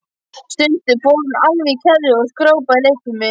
Stundum fór hún alveg í kerfi og skrópaði í leikfimi.